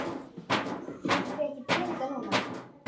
Vantar þig ekki peninga núna?